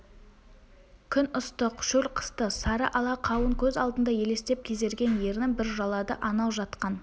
күн ыстық шөл қысты сары ала қауын көз алдында елестеп кезерген ернін бір жалады анау жатқан